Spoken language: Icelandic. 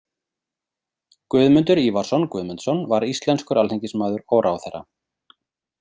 Guðmundur Ívarsson Guðmundsson var íslenskur alþingismaður og ráðherra.